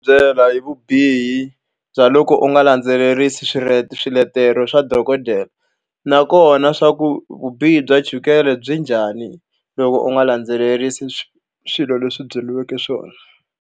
Byela hi vubihi bya loko u nga landzelerisi swiletelo swa dokodela. Nakona leswaku vubihi bya chukele byi njhani loko u nga landzelerisi swilo leswi a byeriweke swona.